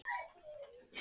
Nú var það bak við hann.